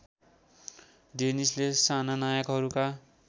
डेनिसले साना नायकहरूका